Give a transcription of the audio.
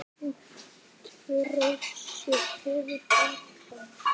Útför Rósu hefur farið fram.